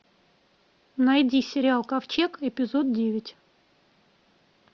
найди сериал ковчег эпизод девять